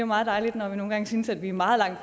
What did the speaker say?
meget dejligt når vi nogle gange synes at vi er meget langt